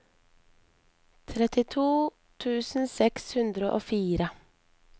trettito tusen seks hundre og fire